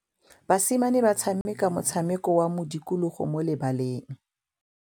Basimane ba tshameka motshameko wa modikologô mo lebaleng.